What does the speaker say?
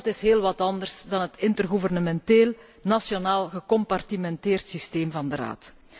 En dat is heel wat anders dan het intergouvernementeel nationaal gecompartimenteerd systeem van de Raad.